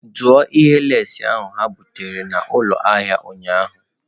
Dụọ ihe leesị ahụ ha butere n'ụlọ ahịa ụnyaahụ!.